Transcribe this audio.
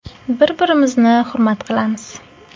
Bir-birimizni hurmat qilamiz.